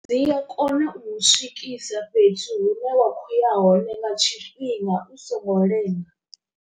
Dzi a kona u mu swikisa fhethu hu ne wa khou ya hone nga tshifhinga u songo lenga.